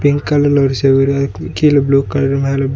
ஒரு கல்லுல ஒரு செவுரு அதுக்கும் கீழ புளூ கலர் மேல--